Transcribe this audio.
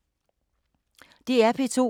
DR P2